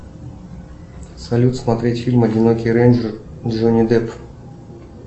салют смотреть фильм одинокий рейнджер джонни депп